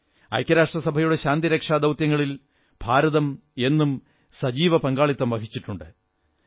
ഐക്യരാഷ്ട്രസഭയുടെ ശാന്തിരക്ഷാ ദൌത്യങ്ങളിൽ ഭാരതം എന്നും സജീവ പങ്കാളിത്തം വഹിച്ചിട്ടുണ്ട്